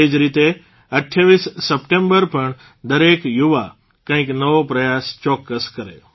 તે જ રીતે ૨૮ સપ્ટેંબર પણ દરેક યુવા કંઇક નવો પ્રયાસ ચોકકસ કરે